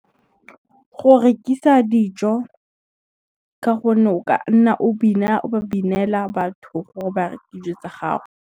Go rekisa dijo, ka gonne o ka nna o ba binela batho gore ba reke dijo tsa gago.